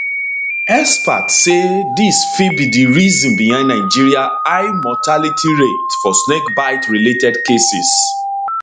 experts say dis fit be di reason behind nigeria high mortality rates for snakebite related cases